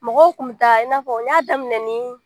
Mɔgɔw tun bɛ taa i n'a fɔ n y'a daminɛ ni